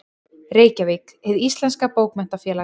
Reykjavík: Hið íslenska Bókmenntafélag.